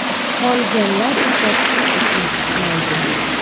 Qolganlar esa pul uchun ishlaydi.